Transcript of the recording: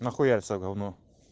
нахуяриться в говно